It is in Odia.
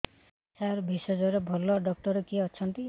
ସାର ଭେଷଜର ଭଲ ଡକ୍ଟର କିଏ ଅଛନ୍ତି